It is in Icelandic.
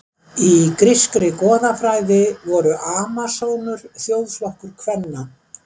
Í grískri goðafræði voru Amasónur þjóðflokkur kvenna.